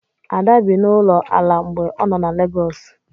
Ada bi n'ụlọ ala mgbe ọ nọ na Legọọsụ.